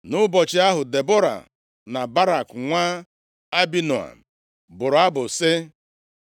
Nʼụbọchị ahụ, Debọra na Barak nwa Abinoam bụrụ abụ + 5:1 Banyere mmeri ahụ dị ukwu sị,